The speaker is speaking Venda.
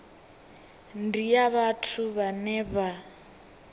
ndi ya vhathu vhane vha